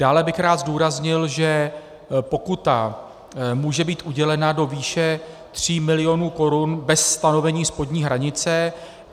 Dále bych rád zdůraznil, že pokuta může být udělena do výše 3 milionů korun bez stanovení spodní hranice.